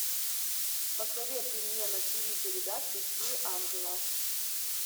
посоветуй мне на тиви передачу три ангела